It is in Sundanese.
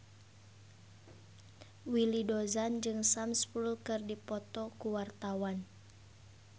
Willy Dozan jeung Sam Spruell keur dipoto ku wartawan